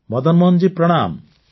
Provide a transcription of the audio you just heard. ମଦନମୋହନ ଜୀ ପ୍ରଣାମ